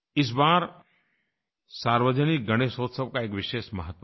इस बार सार्वजनिक गणेशोत्सव का एक विशेष महत्व है